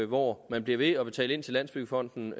hvor man bliver ved med at betale ind til landsbyggefonden